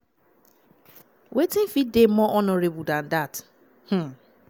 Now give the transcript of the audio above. wetin fit dey more honourable dan dat? um